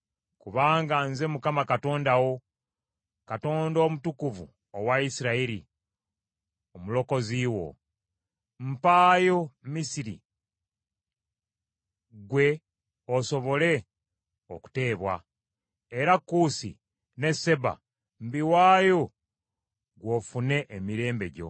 Kubanga nze Mukama Katonda wo, Katonda Omutukuvu owa Isirayiri; Omulokozi wo. Mpayo Misiri ggwe osobole okuteebwa, era Kuusi ne Seba mbiwaayo gwe ofune emirembe gyo.